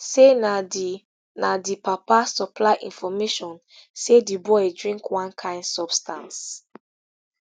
say na di na di papa supply information say di boy drink one kain substance